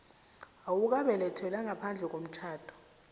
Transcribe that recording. owabelethelwa ngaphandle komtjhado